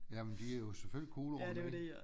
Jamen de er jo selvfølgelig kuglerunde